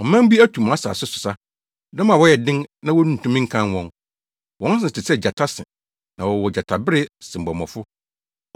Ɔman bi atu mʼasase so sa; dɔm a wɔyɛ den na wontumi nkan wɔn; wɔn se te sɛ gyata se na wɔwɔ gyatabere sebɔmmɔfo.